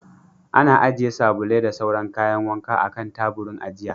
Ana ajiye sabulai da sauran kayan wanka a kan taburin ajiya.